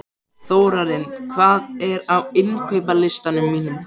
Þórarinn, hvað er á innkaupalistanum mínum?